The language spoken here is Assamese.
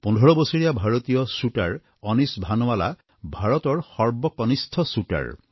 পোন্ধৰ বছৰীয়া ভাৰতীয় শ্বুটাৰ অনিশ ভানুৱালা ভাৰতৰ সৰ্বকনিষ্ঠ শ্বুটাৰ